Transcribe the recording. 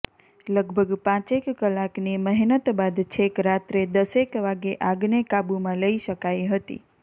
લગભગ પાંચેક કલાકની મહેનત બાદ છેક રાત્રે દસેક વાગે આગને કાબુમાં લઇ શકાઇ હતી